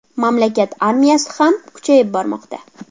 Mamlakat armiyasi ham kuchayib bormoqda.